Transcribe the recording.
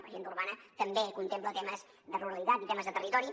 l’agenda urbana també contempla temes de ruralitat i temes de territori